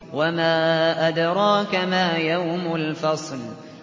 وَمَا أَدْرَاكَ مَا يَوْمُ الْفَصْلِ